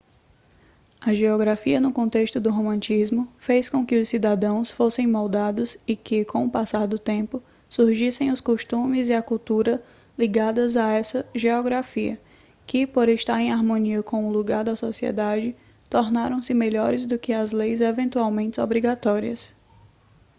a geografia no contexto do romantismo fez com que os cidadãos fossem moldados e que com o passar do tempo surgissem os costumes e a cultura ligadas a essa geografia que por estar em harmonia com o lugar da sociedade tornaram-se melhores do que as leis eventualmente obrigatórias